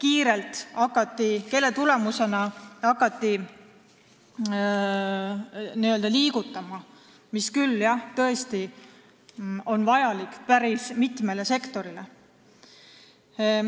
Jälle hakati alles mingi firma tõttu kiirelt liigutama, ehkki jah, seda oli tõesti vaja päris mitmele sektorile.